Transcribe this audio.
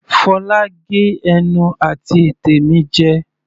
Fola gé ẹnu àti ètè mi jẹ.